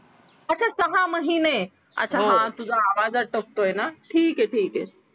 सहा महिने अच्छा हां तुझा आवाज अटकतोय ना ठीके ठीके